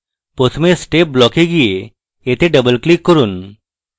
প্রথমে step block এ যান এবং এতে double click করুন